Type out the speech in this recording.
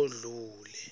odlule